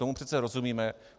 Tomu přece rozumíme.